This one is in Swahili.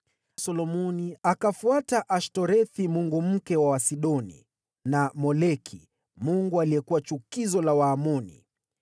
Solomoni akafuata Ashtorethi mungu mke wa Wasidoni, na Moleki mungu aliyekuwa chukizo la Waamoni.